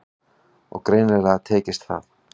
Og greinilega tekist það.